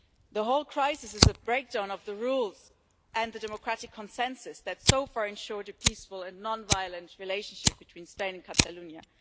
The whole crisis is a breakdown of the rules and the democratic consensus that so far ensured a peaceful and non violent relationship between Spain and Catalonia.